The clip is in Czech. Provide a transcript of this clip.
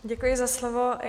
Děkuji za slovo.